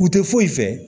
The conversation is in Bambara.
U tɛ foyi fɛ